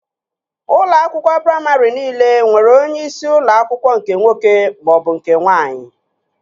Ụlọ akwụkwọ praimarị niile nwere onyeisi ụlọ akwụkwọ nke nwoke maọbụ nke nwaanyị